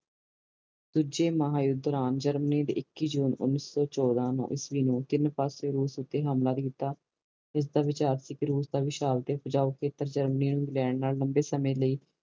ਦੂਜੇ ਮਹਾ ਯੂੱਧ ਦੌਰਾਨ ਜਰਮਨੀ ਨੇ ਇੱਕੀ ਜੂਨ ਓਨੀ ਸੋ ਚੋਦਾ ਈਸਵੀ ਨੂੰ ਟੀਨ ਪਾਸੇ ਰੂਸ ਤੇ ਹਮਲਾ ਕੀਤਾ ਇਸਦਾ ਵਿਚਾਰ ਸੀ ਕੇ ਰੂਸ ਦਾ ਉਪਜਾਊ ਇੰਗਲੈਂਡ ਲੰਬੇ ਸਮੇ ਲਾਇ